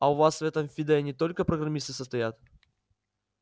а у вас в этой фиде не только программисты состоят